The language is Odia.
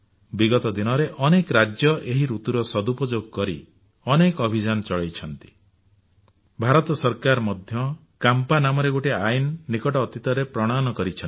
ବିଗତ ଦିନରେ ଅନେକ ରାଜ୍ୟ ଏହି ଋତୁର ସଦୁପଯୋଗ କରି ଅନେକ ଅଭିଯାନ ଚଳାଇଛନ୍ତି ଭାରତ ସରକାର ମଧ୍ୟ କାମ୍ପା ନାମରେ ଗୋଟିଏ ଆଇନ ନିକଟ ଅତୀତରେ ପ୍ରଣୟନ କରିଛନ୍ତି